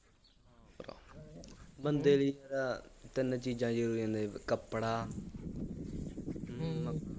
ਹਾਂ ਭਰਾ, ਬੰਦੇ ਲਈ ਤਾਂ ਤਿੰਨ ਚੀਜ਼ਾਂ ਜ਼ਰੂਰੀ ਨੇ, ਇੱਕ ਕੱਪੜਾ ਹੂੰ